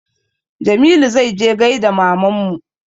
Jamilu zai je ya gaida mamanmu